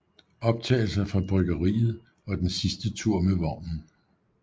Optagelser fra bryggeriet og den sidste tur med vognen